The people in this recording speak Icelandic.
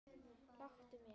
Láttu mig.